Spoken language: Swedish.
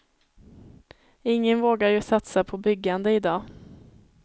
Ingen vågar ju satsa på byggande i dag.